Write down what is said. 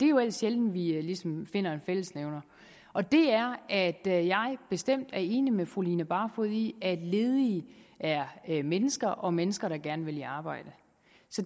jo ellers sjældent vi ligesom finder en fællesnævner og det er at jeg bestemt er enig med fru line barfod i at ledige er mennesker og mennesker der gerne vil i arbejde